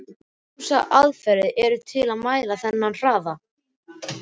Ýmsar aðferðir eru til að mæla þennan hraða.